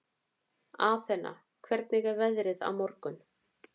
Athena, hvernig er veðrið á morgun?